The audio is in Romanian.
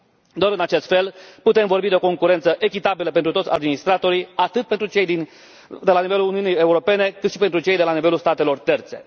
Doar în acest fel putem vorbi de o concurență echitabilă pentru toți administratorii, atât pentru cei de la nivelul Uniunii Europene, cât și pentru cei de la nivelul statelor terțe.